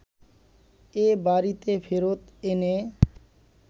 এ বাড়িতে ফেরত এনে